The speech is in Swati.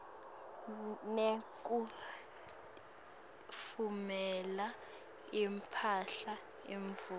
nekutfumela imphahla imvumo